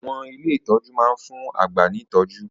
Àwọn ilé ìtọ́jú máa ń fún àgbà ní ìtọ́jú